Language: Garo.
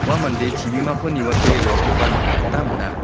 ua mande chibimako niwate roakoba nikna gita man·a.